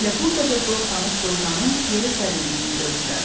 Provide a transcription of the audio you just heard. Elə burdaca dost-tanış dovşanın yerə sərildiyini gördülər.